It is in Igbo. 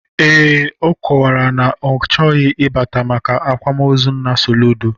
Ee, ọ kọwara na ya achọghị ịbata maka akwamozu nna Soludo